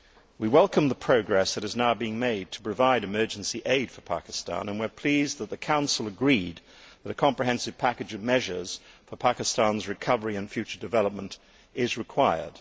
We welcome the progress that has now been made to provide emergency aid for Pakistan and we are pleased that the Council agreed that a comprehensive package of measures for Pakistan's recovery and future development is required.